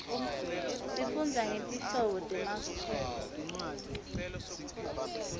sifundza ngetinhlobo temakhunqa